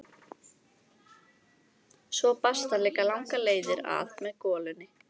Svo barst hann líka langar leiðir að með golunni.